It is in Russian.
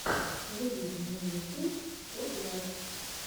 выведи мне ютуб спотлайт